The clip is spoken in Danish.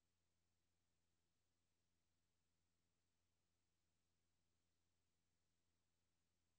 Samtidig styrkes kontrollen med satellitovervågning og uvildige inspektører om bord på fiskerbådene.